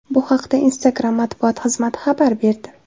Bu haqda Instagram matbuot xizmati xabar berdi .